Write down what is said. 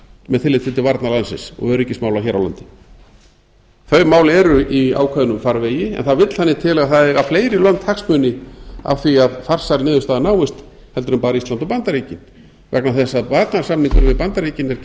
með tilliti til varna landsins og öryggismála hér á landi þau mál eru í ákveðnum farvegi en það vill þannig til að það eiga fleiri lönd hagsmuni af því að farsæl niðurstaða náist heldur en bara ísland og bandaríkin vegna þess að varnarsamningurinn við bandaríkin er